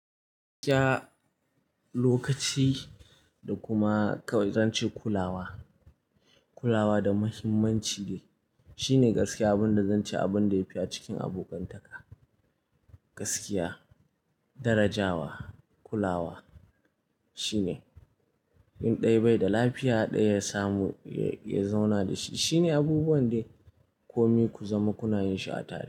Gaskiya, lokaci da kuma zan ce kulawa. Kulawa da muhimmanci ne. Shi ne gaskiya abin da zan ce abin da yafi a cikin abokantaka. Gaskiya, darajawa, kulawa shine. In ɗaya bai da lafiya ɗaya ya samu ya zauna da shi. Shi ne abubuwan da kome ku zama kuna yin shi a tare.